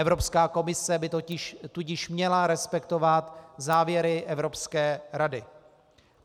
Evropská komise by tudíž měla respektovat závěry Evropské rady.